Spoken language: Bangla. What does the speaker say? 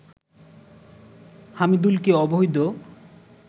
হামিদুলকে অবৈধ